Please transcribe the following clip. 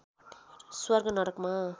स्वर्ग नरकमा